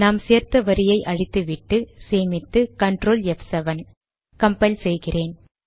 நாம் சேர்த்த வரியை அழித்து விட்டு சேமித்து கன்ட்ரோல் ப்7 கம்பைல் செய்கிறேன்